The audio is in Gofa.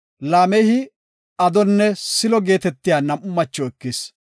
Laamehi Adonne Siilo geetetiya nam7u macho ekis.